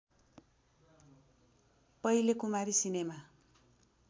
पहिले कुमारी सिनेमा